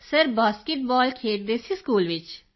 Kritika sir basketball ਖੇਡਦੇ ਸੀ school ਵਿੱਚ